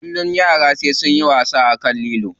Kullum yara sai sunyi wasa akan lilo.